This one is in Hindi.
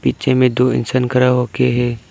पीछे में दो इंसान खड़ा होके हैं।